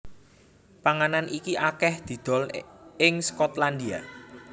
Panganan iki akèh didol ing Skotlandia